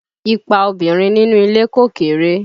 Ipa obìnrin nínú ilé kò kéré